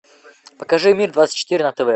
покажи мир двадцать четыре на тв